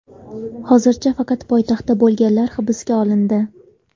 Hozircha faqat poytaxtda bo‘lganlar hibsga olindi.